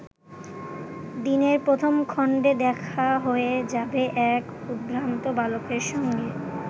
দিনের প্রথম খণ্ডে দেখা হয়ে যাবে এক উদ্ভ্রান্ত বালকের সঙ্গে।